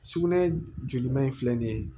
Sugunɛ joli man in filɛ nin ye